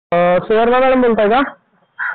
अ Suvarna madam बोलताय का?